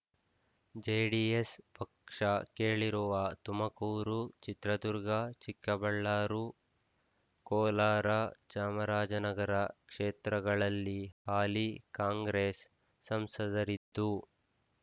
JDS ಪಕ್ಷ ಕೇಳಿರುವ ತುಮಕೂರು ಚಿತ್ರದುರ್ಗ ಚಿಕ್ಕಬಳ್ಳಾರು ಕೋಲಾರ ಚಾಮರಾಜನಗರ ಕ್ಷೇತ್ರಗಳಲ್ಲಿ ಹಾಲಿ ಕಾಂಗ್ರೆಸ್ ಸಂಸದರಿದ್ದು